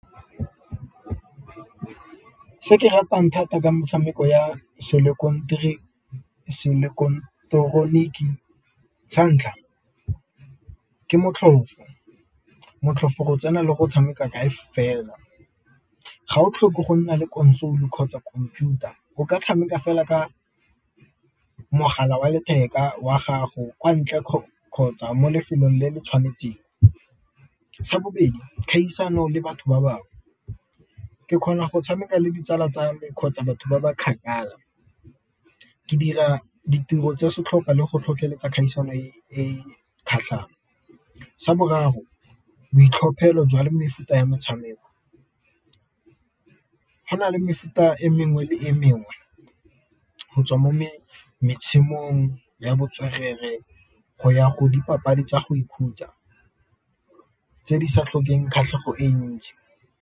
Se ratang thata ke motshameko ya santlha ke motlhofo, motlhofo go tsena le go tshameka kae fela, ga o tlhoke go nna le console kgotsa khomputara o ka tshameka fela ka mogala wa letheka wa gago kwa ntle kgotsa mo lefelong le le tshwanetseng. Sa bobedi kgaisano le batho ba bangwe, ke kgona go tshameka le ditsala tsa me kgotsa batho ba ba kgakala ke dira ditiro tse setlhopha le go tlhotlheletsa kgaisano e kgatlhang. Sa boraro boitlhophelo jwale mefuta ya motshameko, go na le mefuta e mengwe le e mengwe go tswa mo ya botswerere go ya go dipapadi tsa go ikhutsa tse di sa tlhokeng kgatlhego e ntsi.